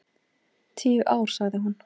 Tíu ár, sagði hún.